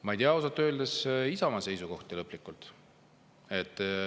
Ma ei tea ausalt öeldes Isamaa lõplikku seisukohta.